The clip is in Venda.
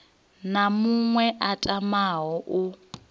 na muṅwe a tamaho u